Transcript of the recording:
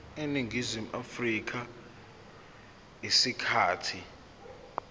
eningizimu afrika isikhathi